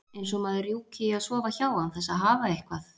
Eins og maður rjúki í að sofa hjá án þess að hafa eitthvað.